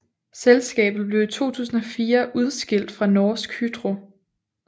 Selskabet blev i 2004 udskilt fra Norsk Hydro